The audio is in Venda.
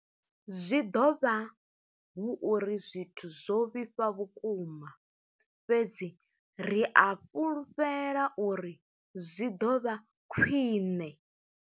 Zwi ḓo vha hu uri zwithu zwo vhifha vhukuma, fhedzi ri a fhulufhela uri zwi ḓo vha khwiṋe.